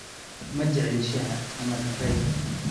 Ma jeceshahay shaaha ama kafeega?